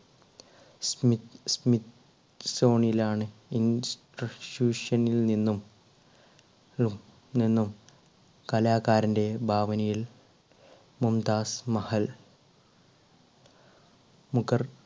zone ലാണ് നിന്നും ഉം നിന്നും കലാകാരന്റെ ഭാവനയിൽ മുംതാസ് മഹൽ മുഖർ